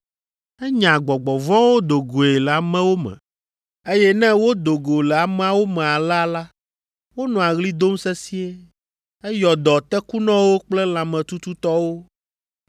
Enya gbɔgbɔ vɔ̃wo do goe le amewo me, eye ne wodo go le ameawo me alea la, wonɔa ɣli dom sesĩe. Eyɔ dɔ tekunɔwo kple lãmetututɔwo.